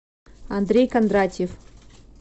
андрей кондратьев